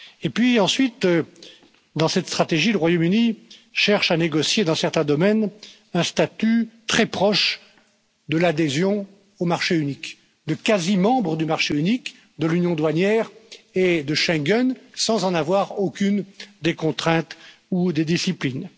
Et puis ensuite, dans cette stratégie, le Royaume Uni cherche à négocier, dans certains domaines, un statut très proche de l'adhésion au marché unique, de quasi membre du marché unique de l'union douanière et de Schengen sans en avoir aucune des contraintes ou des disciplines.